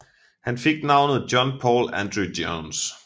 Han fik navnet John Paul Andrew Jones